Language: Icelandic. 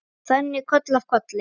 Og þannig koll af kolli.